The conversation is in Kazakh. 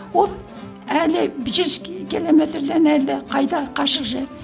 ол әлі жүз километрден әлдеқайда қашық жер